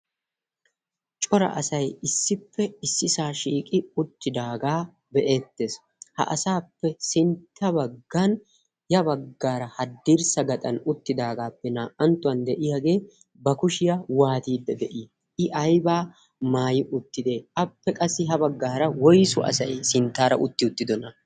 Cora asay issippe issisaa shiiqi uttidaagaa be'eettees. Ha asaappe sintta baggan ya baggaara haddirssa gaxan uttidaagaappe naa'anttuwan de'iyagee ba kushiya waatiiddi de'ii, i aybaa maayi uttidee, appe qassi ha baggaara woysu asay sinttaara uttiy uttidee?